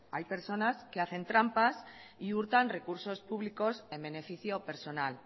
hay personas que hacen trampas y hurtan recursos públicos en beneficio personal